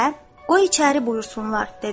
Və "o içəri buyursunlar" dedi.